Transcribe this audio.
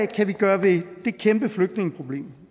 kan vi gøre ved det kæmpe flygtningeproblem